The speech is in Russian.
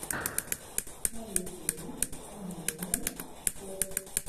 на ютюбе эмьюзмент фос